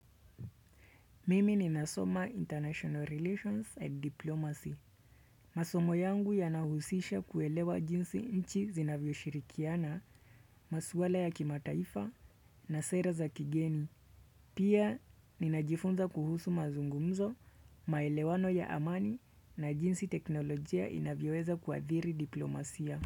Mimi ni nasoma International Relations and Diplomacy. Masomo yangu yanahusisha kuelewa jinsi nchi zinavyo shirikiana maswala ya kimataifa na sera za kigeni. Pia ninajifunza kuhusu mazungumzo, maelewano ya amani na jinsi teknolojia inavyoweza kuathiri diplomasia.